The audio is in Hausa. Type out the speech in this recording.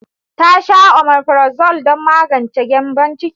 Ta sha omefrazole don magance gyambon ciki.